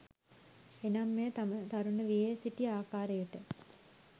එනම් මෙය තම තරුණ වියේ සිටි ආකාරයට